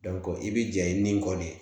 i bɛ jɛɲini nin kɔ de